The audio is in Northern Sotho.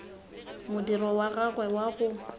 modiro wa gagwe wa go